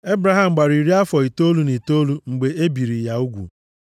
Ebraham gbara iri afọ itoolu na itoolu mgbe e biri ya ugwu,